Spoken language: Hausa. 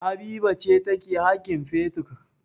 Habiba ce take haƙin fetur.